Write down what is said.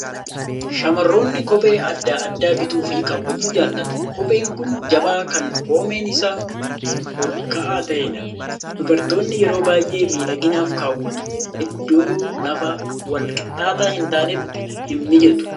Shamarroonni kophee adda addaa bituu fi kaawwachuu jaalatu. Kopheen kun jabaa kan koomeen isaa ol ka'aa ta'edha. Dubartoonni yeroo baay'ee miidhaginaaf kaawwatu. Iddoo lafa wal qixxaataa hin taanetti hin mijatu.